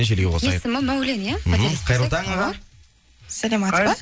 желіге қосайық есімі мәулен иә мхм қайырлы таң аға саламатсыз ба